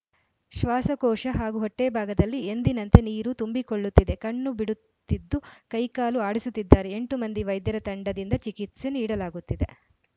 ಶ್ವಾಸಕೋಶ ಹಾಗೂ ಹೊಟ್ಟೆಭಾಗದಲ್ಲಿ ಎಂದಿನಂತೆ ನೀರು ತುಂಬಿಕೊಳ್ಳುತ್ತಿದೆ ಕಣ್ಣು ಬಿಡುತ್ತಿದ್ದು ಕೈ ಕಾಲು ಆಡಿಸುತ್ತಿದ್ದಾರೆ ಎಂಟು ಮಂದಿ ವೈದ್ಯರ ತಂಡದಿಂದ ಚಿಕಿತ್ಸೆ ನೀಡಲಾಗುತ್ತಿದೆ